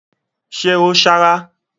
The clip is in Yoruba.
Ṣe ó sárá?